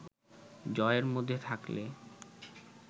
জয়ের মধ্যে থাকলে